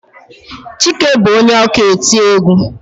Chike bu onye ọka eti egwú.